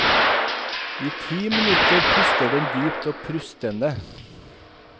I ti minutter puster den dypt og prustende.